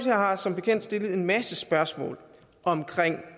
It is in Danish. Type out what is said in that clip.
har som bekendt stillet en masse spørgsmål om